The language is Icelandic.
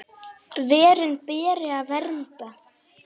Verin beri að vernda.